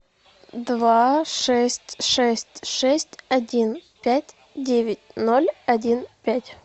два шесть шесть шесть один пять девять ноль один пять